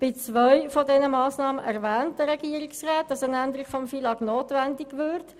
Bei zweien davon erwähnt der Regierungsrat, dass eine Änderung des FILAG notwendig würde.